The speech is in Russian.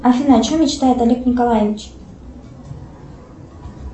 афина о чем мечтает олег николаевич